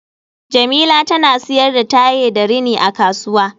Jemila tana siyar da tiye da rini a kasuwa